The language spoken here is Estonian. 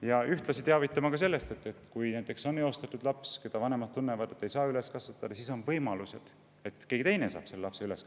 Ja ühtlasi tuleks teavitada ka sellest, et kui on eostatud laps, kelle puhul vanemad tunnevad, et nad ei saa teda üles kasvatada, siis on olemas võimalused selleks, et keegi teine kasvatab selle lapse üles.